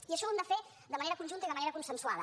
i això ho hem de fer de manera conjunta i de manera consensuada